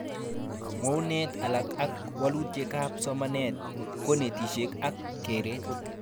Mwounet alak ak walutikab somanet, konetishet ak keret